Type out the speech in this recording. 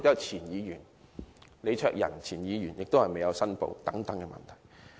前議員李卓人也被指收取捐款但沒有申報。